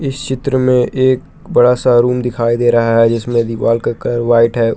इस चित्र में एक बड़ा सा रूम दिखाई दे रहा है जिसमें दीवाल का कलर वाइट है।